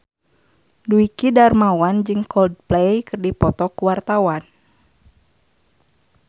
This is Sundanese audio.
Dwiki Darmawan jeung Coldplay keur dipoto ku wartawan